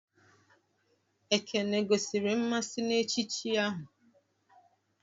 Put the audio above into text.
Ekene gosiri mmasị na echichi ahụ?